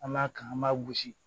An b'a kan an b'a gosi